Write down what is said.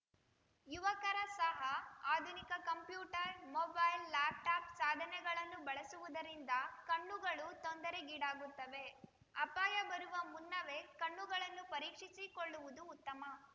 ಯುವಕರ ಸಹ ಆಧುನಿಕ ಕಂಪ್ಯೂಟರ್‌ ಮೊಬೈಲ್‌ ಲ್ಯಾಪ್‌ಟಾಪ್‌ ಸಾಧನೆಗಳನ್ನು ಬಳಸುವುದರಿಂದ ಕಣ್ಣುಗಳು ತೊಂದರೆಗೀಡಾಗುತ್ತವೆ ಅಪಾಯ ಬರುವ ಮುನ್ನವೇ ಕಣ್ಣುಗಳನ್ನು ಪರೀಕ್ಷಿಸಿಕೊಳ್ಳುವುದು ಉತ್ತಮ